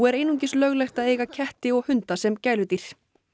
einungis löglegt að eiga ketti og hunda sem gæludýr